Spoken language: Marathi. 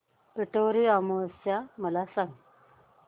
पिठोरी अमावस्या मला सांग